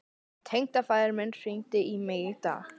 Tengdafaðir minn hringdi í mig í dag.